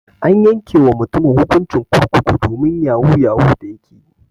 An yanke wa mutumin hukuncin kurkuku domin yahu yahu da yake ƴi.